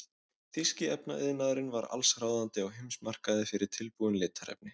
Þýski efnaiðnaðurinn var allsráðandi á heimsmarkaði fyrir tilbúin litarefni.